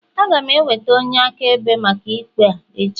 Aga m eweta onye akaebe maka ikpe a echi